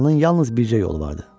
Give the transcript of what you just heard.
Oranın yalnız bircə yolu vardı.